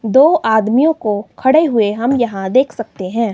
दो आदमियों को खड़े हुए हम यहां देख सकते हैं।